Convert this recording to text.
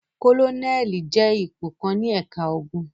Kólónẹ́ẹ́lì jẹ́ ipò kan ní ẹ̀ka ogun.